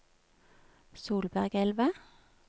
Solbergelva